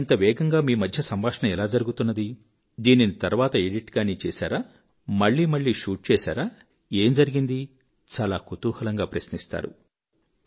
మరి ఇంత వేగంగా మీ మధ్య సంభాషణ ఎలా జరుగుతున్నది దీనిని తర్వాత ఎడిట్ గాని చేసారా మళ్ళీ మళ్ళీ షూట్ చేశారా ఏం జరిగింది చాలా కుతూహలంగా ప్రశ్నిస్తారు